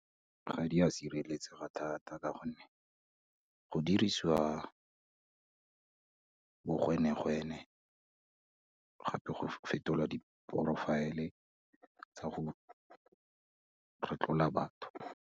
Ga di a sireletsega thata ka gonne, go dirisiwa bogwenegwene gape go fetolwa di-profile-e tsa go retlola batho.